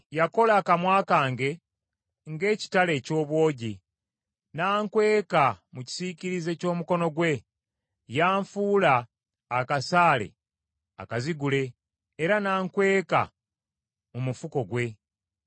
Yakola akamwa kange ng’ekitala eky’obwogi, nankweka mu kisiikirize ky’omukono gwe. Yanfuula akasaale akazigule era nankweka mu mufuko gwe.